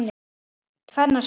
Tvennar svalir.